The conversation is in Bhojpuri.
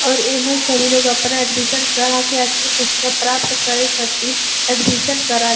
और एमा सभी लोग अपना एडमिशन करा के अच्छा शिक्षा प्राप्त करे खातिर एडमिशन करा --